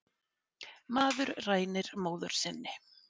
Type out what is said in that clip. Maður rænir móður sinni